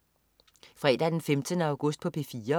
Fredag den 15. august - P4: